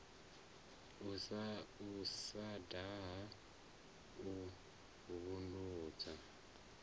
u sa daha u vhulunga